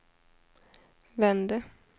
vände